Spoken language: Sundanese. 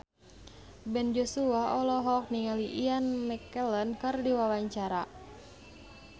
Ben Joshua olohok ningali Ian McKellen keur diwawancara